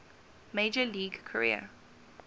major league career